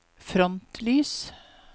frontlys